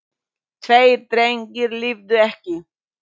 Tveir drengir lifðu ekki.